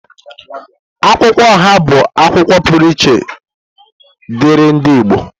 Akwụkwọ oha bụ akwukwuo pụrụ iche diri ndi Igbo.